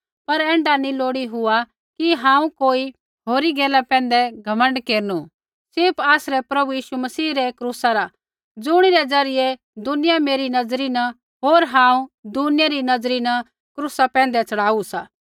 पर ऐण्ढा नी हुआ लोड़ी कि हांऊँ कोई होरी गैला पैंधै घमण्ड केरनु सिर्फ़ आसरै प्रभु यीशु मसीह रै क्रूसा रा ज़ुणिरै ज़रियै दुनिया मेरी नज़री न होर हांऊँ दुनिया री नज़री न क्रूसा पैंधै च़ढ़ाऊ सा